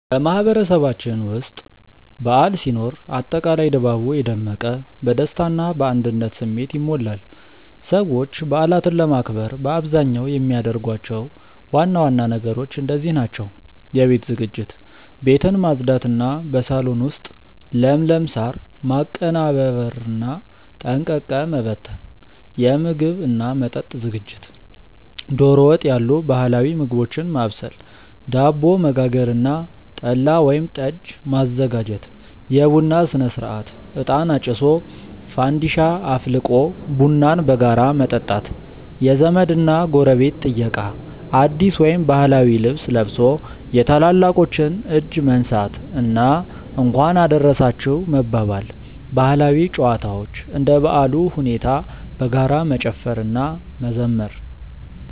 በማህበረሰባችን ውስጥ በዓል ሲኖር አጠቃላይ ድባቡ የደመቀ፣ በደስታ እና በአንድነት ስሜት ይሞላል። ሰዎች በዓላትን ለማክበር በአብዛኛው የሚያደርጓቸው ዋና ዋና ነገሮች እንደዚህ ናቸው፦ የቤት ዝግጅት፦ ቤትን ማጽዳት እና በሳሎን ውስጥ ለምለም ሳር ማቀነባበርና ጠንቀቀ መበተን። የምግብ እና መጠጥ ዝግጅት፦ ዶሮ ወጥ ያሉ ባህላዊ ምግቦችን ማብሰል፣ ዳቦ መጋገር እና ጠላ ወይም ጠጅ ማዘጋጀት። የቡና ሥነ-ሥርዓት፦ እጣን አጭሶ፣ ፋንዲሻ አፍልቆ ቡናን በጋራ መጠጣት። የዘመድ እና ጎረቤት ጥየቃ፦ አዲስ ወይም ባህላዊ ልብስ ለብሶ የታላላቆችን እጅ መንሳት እና "እንኳን አደረሳችሁ" መባባል። ባህላዊ ጨዋታዎች፦ እንደ በዓሉ ሁኔታ በጋራ መጨፈር እና መዘመር።